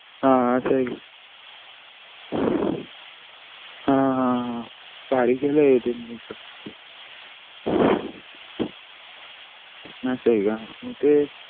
हा असा हे का हा हा हा भारी केला हे हे त्यांनी